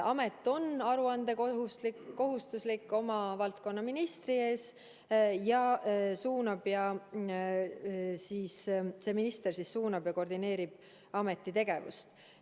Amet on aruandekohustuslik oma valdkonna ministri ees ja see minister suunab ja koordineerib ameti tegevust.